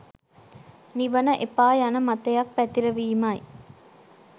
නිවන එපා යන මතයක් පැතිරවීමයි